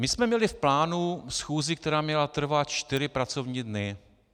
My jsme měli v plánu schůzi, která měla trvat čtyři pracovní dny.